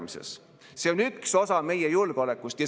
Mingist eelarve tasakaalust rääkida – seda ei tasu kellelegi omistada.